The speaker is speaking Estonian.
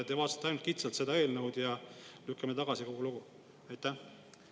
Te vaatasite ainult kitsalt seda eelnõu ja lükkame selle tagasi, ja kogu lugu.